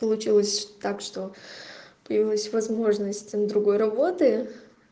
получилось так что появилась возможность на другой работы